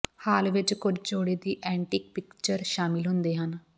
ਹਾਲ ਵਿਚ ਕੁੱਝ ਜੋੜੇ ਦੀ ਐਂਟੀਕ ਪਿਕਚਰ ਸ਼ਾਮਲ ਹੁੰਦੇ ਹਨ